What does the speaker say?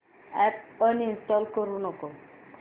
app uninstall करू नको